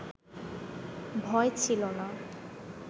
ভয় ছিল না,